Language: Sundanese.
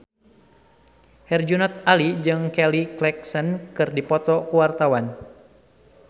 Herjunot Ali jeung Kelly Clarkson keur dipoto ku wartawan